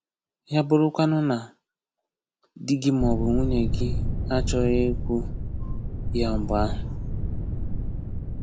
Ya bụrụkwanụ na di gị maọbụ nwunye gị achọghị ikwu ya mgbe ahụ?